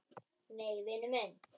Nei, vinur minn.